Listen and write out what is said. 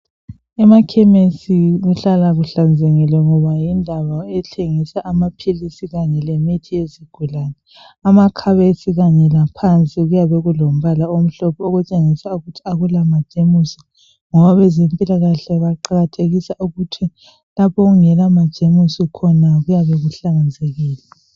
Emakhemisi kuhlala kuhlanzekile ngoba yindawo ethengisa amaphilisi kanye lemithi yezigulani. Amakhabithi kanye laphansi kuyabe kulombala omhlophe okutshengisa ukuthi majemusi ngoba abezempilakahle baqakathekisa ukuthi lapho okungela majemusi khona kuyabe kuhlanzekile.